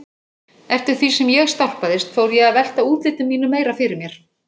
Eftir því sem ég stálpaðist fór ég að velta útliti mínu meira fyrir mér.